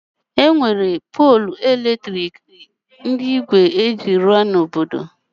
E nwere ide ọkụ ndị eji ígwè rụọ n'obodo m